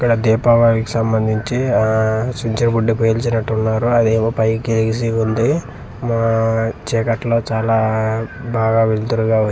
ఇక్కడ దీపావళికి సంబందించి ఆ చూచ్చి బుడ్డి పేల్చినట్టు ఉన్నారు అది ఏమో పైకి ఎగిసి ఉంది మా చిక్కటలో చాలా బాగా వెలతూరుగా వచ్చింది.